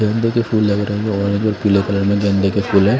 गेंदे के फूल लग रहे हैं ऑरेंज और पीले कलर में गेंदे के फूल है।